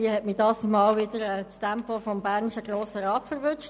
Irgendwie hat mich dieses Mal wieder das Tempo des bernischen Grossen Rats erwischt.